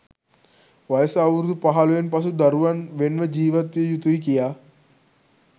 වයස අවුරුදු පහළොවෙන් පසු දරුවන් වෙන් ව ජීවත්විය යුතුයි කියා.